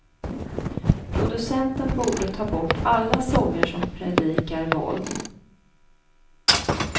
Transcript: Producenten borde ta bort alla sånger som predikar våld.